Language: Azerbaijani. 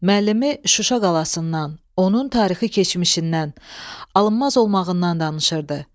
Müəllimi Şuşa qalasından, onun tarixi keçmişindən, alınmaz olmağından danışırdı.